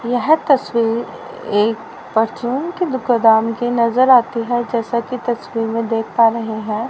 यह तस्वीर एक परचून की दुकदान कि नजर आती है जैसा की तस्वीर में देख पा रहे हैं।